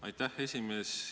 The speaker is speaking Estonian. Aitäh, esimees!